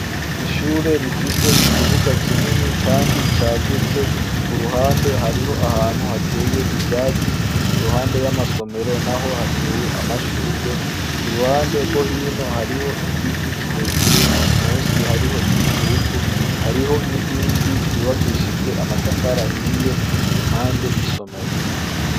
Ishure rifise ikibuga kinini, kandi cagutse ku ruhande hariho ahantu hateye ivyatsi iruhande y'amasomero na ho hateye amashurwe ku ruhande rwo hino hariho igiti kirekire musi hariho igitutu hariho n'inkingi yubakishijwe amatafara hiye impande y'isomero.